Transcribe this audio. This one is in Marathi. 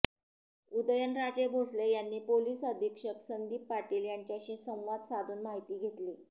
उदयनराजे भोसले यांनी पोलिस अधीक्षक संदीप पाटील यांच्याशी संवाद साधून माहिती घेतली